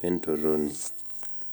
wentorroni.